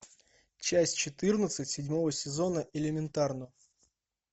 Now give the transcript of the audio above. часть четырнадцать седьмого сезона элементарно